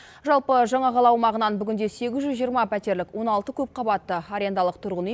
жалпы жаңа қала аумағынан бүгінде сегіз жүз жиырма пәтерлік он алты көпқабатты арендалық тұрғын үй